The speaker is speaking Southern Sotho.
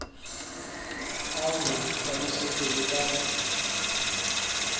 a ho hlalosetse le ka